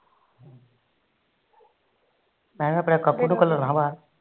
ਮੈ ਆਪਣੇ ਕੱਪੂ ਨੂੰ ਘੱਲਣਾ ਬਾਹਰ